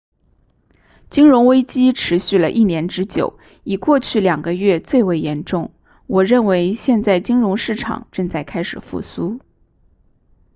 金融危机持续了一年之久以过去两个月最为严重我认为现在金融市场正在开始复苏